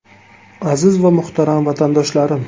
Aziz va muhtaram vatandoshlarim!